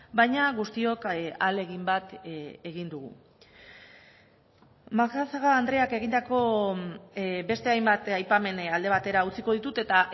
baina guztiok ahalegin bat egin dugu macazaga andreak egindako beste hainbat aipamen alde batera utziko ditut eta